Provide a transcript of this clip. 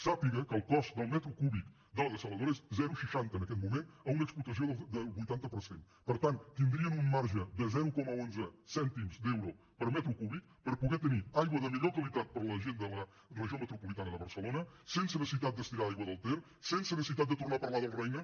sàpiga que el cost del metre cúbic de la dessaladora és zero coma seixanta en aquest moment a una explotació del vuitanta per cent per tant tindrien un marge de zero coma onze cèntims d’euro per metre cúbic per poder tenir aigua de millor qualitat per a la gent de la regió metropolitana de barcelona sense necessitat d’estirar aigua del ter sense necessitat de tornar a parlar del roine